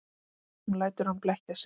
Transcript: Hún lætur hann blekkja sig.